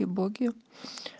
и боги